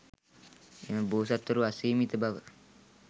එම බෝසත්වරු අසීමිත බව